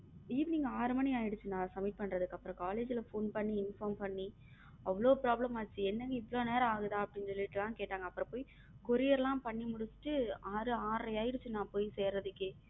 Evening ஆறு மணி ஆயிடுச்சின்னா submit பண்றதுக்கு அப்புறம் college ல phone பண்ணி inform பண்ணி அவ்வளவு problem ஆச்சு என்னன்னு இவ்ளோ நேரம் ஆகுதா அப்படின்னு சொல்லிட்டு எல்லாம் கேட்டாங்க அப்புறம் போய் courier எல்லாம் பண்ணி முடிச்சுட்டு ஆறு ஆறரை ஆயிடுச்சு நான் போய் சேரதுக்கு.